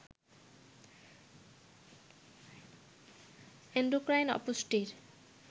endocrine অপুষ্টির